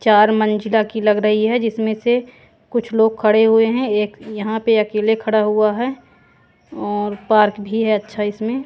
चार मंजिला की लग रही है जिसमें से कुछ लोग खड़े हुए हैं एक यहां पे अकेले खड़ा हुआ है और पार्क भी है अच्छा इसमें।